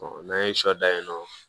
n'an ye sɔ dan yen nɔ